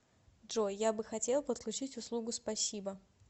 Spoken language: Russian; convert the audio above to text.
джой я бы хотел подключить услугу спасибо